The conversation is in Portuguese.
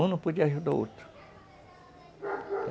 Um não podia ajudar o outro.